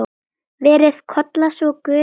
Veri Kolla svo Guði falin.